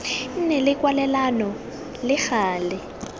nne le kwalelano le gale